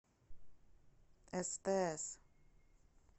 стс